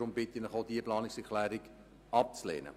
Deshalb bitte ich Sie, auch diese Planungserklärung abzulehnen.